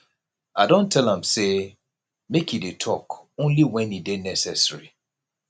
i don tell am sey make e dey tok only wen e dey necessary